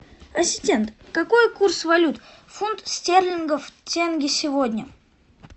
ассистент какой курс валют фунт стерлингов тенге сегодня